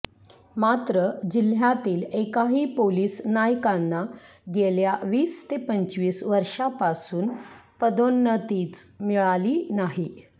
मात्र जिल्ह्यातील एकाही पोलीस नायकांना गेल्या वीस ते पंचवीस वर्षापासून पदोन्नतीच मिळाली नाही